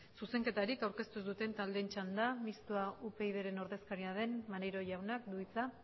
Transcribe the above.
zuzenketarik aurkeztu ez duten taldeen txanda mixto upyd taldearen ordezkaria den maneiro jaunak du hitza